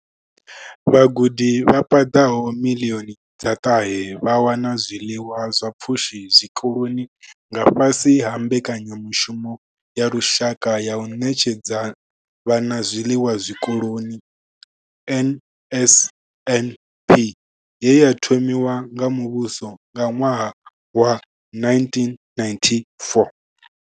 Vhagudi vha paḓaho miḽioni dza ṱahe vha wana zwiḽiwa zwa pfushi zwikoloni nga fhasi ha Mbekanya mushumo ya Lushaka ya u Ṋetshedza Vhana Zwiḽiwa Zwikoloni NSNP ye ya thomiwa nga muvhuso nga ṅwaha wa 1994.